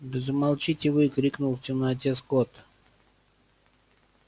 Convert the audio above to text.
да замолчите вы крикнул в темноте скотт